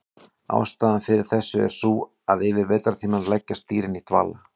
Ástæðan fyrir þessu er sú að yfir vetrartímann leggjast dýrin í dvala.